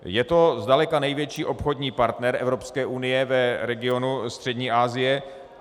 Je to zdaleka největší obchodní partner Evropské unie v regionu Střední Asie.